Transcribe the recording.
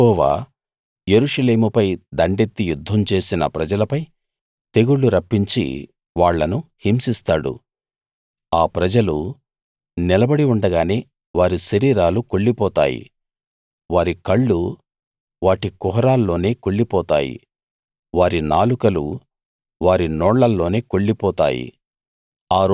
యెహోవా యెరూషలేముపై దండెత్తి యుద్ధం చేసిన ప్రజలపై తెగుళ్లు రప్పించి వాళ్ళను హింసిస్తాడు ఆ ప్రజలు నిలబడి ఉండగానే వారి శరీరాలు కుళ్లిపోతాయి వారి కళ్ళు వాటి కుహరాల్లోనే కుళ్లిపోతాయి వారి నాలుకలు వారి నోళ్లలోనే కుళ్లిపోతాయి